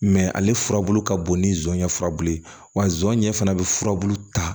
ale furabulu ka bon ni zɔnɲɛ furabulu ye wa zon ɲɛ fana bɛ furabulu ta